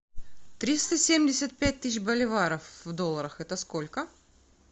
триста семьдесят пять тысяч боливаров в долларах это сколько